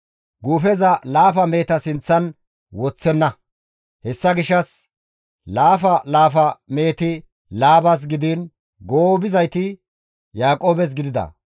Guufeza laafa meheta sinththan woththenna; hessa gishshas laafa laafa meheti Laabas gidiin goobizayti Yaaqoobes gidida.